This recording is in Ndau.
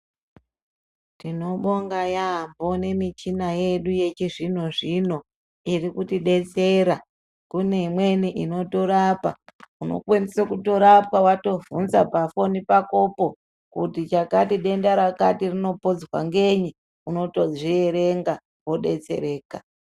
Tinobonga yaamho nemichina yedu yechizvino-zvino iri kuti betsera. Kune imweni inotorapa unokwanise kutorapwa vatovhunza pafoni pakopo kuti chakati benda rakati rinopodzwa ngenyi, unotozvierenga vobetsereka.